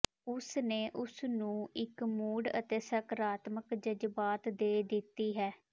ਉਸ ਨੇ ਉਸ ਨੂੰ ਇੱਕ ਮੂਡ ਅਤੇ ਸਕਾਰਾਤਮਕ ਜਜ਼ਬਾਤ ਦੇ ਦਿੱਤੀ ਹੈ